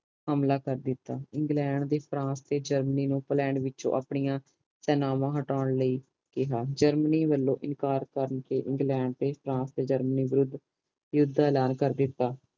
ਹਮਲਾ ਕਰ ਦੀਤਾ ਇੰਗਲੈਂਡ ਫਰਾਂਸ ਤੇ ਜਰਮਨੀ ਨੂੰ ਆਈਲੈਂਡ ਵਿਚੋਂ ਆਪਣੀਆਂ ਸੇਨਾਵਾਂ ਹਟਾਉਣ ਲਾਇ ਕਿਹਾ ਜਰਮਨੀ ਵਲੋਂ ਇਨਕਾਰ ਕਰ ਦੇਣ ਤੇ ਇੰਗਲੈਂਡ ਫਰਾਂਸ ਤੇ ਜਰਮਨੀ ਵਿਰੁੱਧ ਯੂੱਧ ਦਾ ਐਲਾਨ ਕਰ ਦਿਤਾ ਗਯਾ